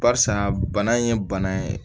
Barisa bana in ye bana ye